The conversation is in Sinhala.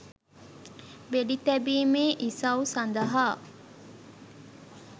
වෙඩි තැබීමේ ඉසව් සඳහා